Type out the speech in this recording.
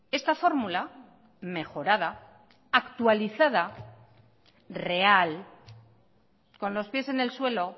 esta fórmula mejorada actualizada real con los pies en el suelo